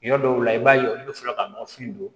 Yɔrɔ dɔw la i b'a ye olu bɛ sɔrɔ ka nɔfin don